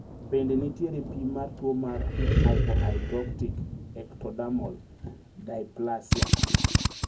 Bende nitiere pim mar tuo mar hypohidrotic ectodermal dysplasia?